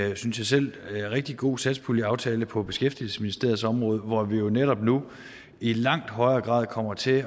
en synes jeg selv rigtig god satspuljeaftale på beskæftigelsesministeriets område hvor vi jo netop nu i langt højere grad kommer til